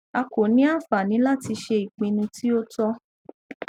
a ko ni anfani lati ṣe ipinnu ti o tọ